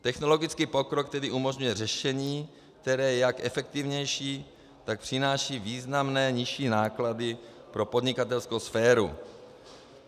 Technologický pokrok tedy umožňuje řešení, které je jak efektivnější, tak přináší významné nižší náklady pro podnikatelskou sféru.